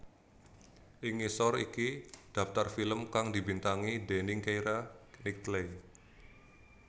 Ing ngisor iki dhaptar film kang dibintangi déning Keira Knightley